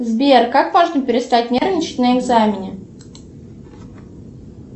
сбер как можно перестать нервничать на экзамене